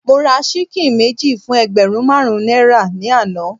Mo ra ṣíkìn méjì fún ẹgbẹ̀rún marun náírà ni àná.